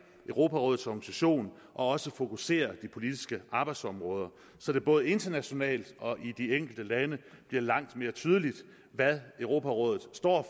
europarådets organisation og også fokusere de politiske arbejdsområder så det både internationalt og i de enkelte lande bliver langt mere tydeligt hvad europarådet står